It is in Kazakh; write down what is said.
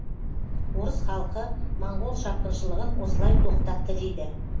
орыс халқы моңғол шапқыншылығын осылай тоқтатты дейді